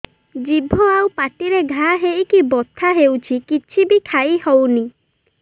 ଜିଭ ଆଉ ପାଟିରେ ଘା ହେଇକି ବଥା ହେଉଛି କିଛି ବି ଖାଇହଉନି